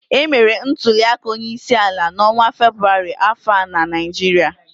Emere ntuliaka onyeisiala n'ọnwa Febụwarị afọ a na Naịjirịa